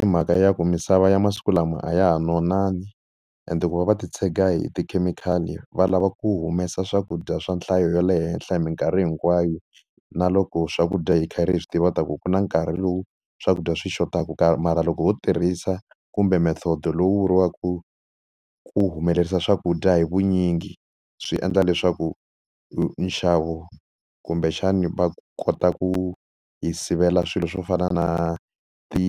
I mhaka ya ku misava ya masiku lama a ya ha nonangi, ende ku va va ti tshega hi tikhemikhali va lava ku humesa swakudya swa nhlayo ya le henhla hi minkarhi hinkwayo, na loko swakudya hi karhi hi swi tiva ku ku na nkarhi lowu swakudya swi xotaka kaya mara loko ho tirhisa kumbe method lowu vuriwaka ku humelerisa swakudya hi vunyingi swi endla leswaku nxavo kumbexani va kota ku hi sivela swilo swo fana na ti